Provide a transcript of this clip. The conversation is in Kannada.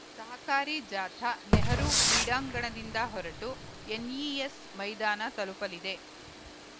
ಸಹಕಾರಿ ಜಾಥಾ ನೆಹರೂ ಕ್ರೀಡಾಂಗಣದಿಂದ ಹೊರಟು ಎನ್‌ಇಎಸ್‌ ಮೈದಾನ ತಲುಪಲಿದೆ